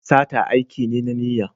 Sata aiki ne na niyya.